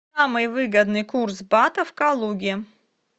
самый выгодный курс бата в калуге